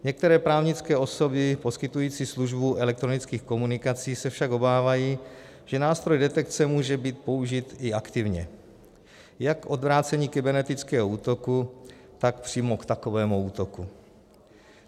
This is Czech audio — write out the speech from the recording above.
Některé právnické osoby poskytující službu elektronických komunikací se však obávají, že nástroj detekce může být použit i aktivně, jak k odvrácení kybernetického útoku, tak přímo k takovému útoku.